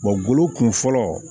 golo kun fɔlɔ